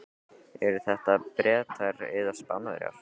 Eru þetta Bretar eða Spánverjar?